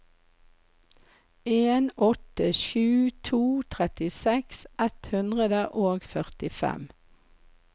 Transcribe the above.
en åtte sju to trettiseks ett hundre og førtifem